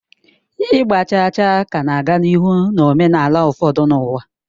Ịgba chaa chaa ka na-aga n'ihu na omenala ụfọdụ n'ụwa.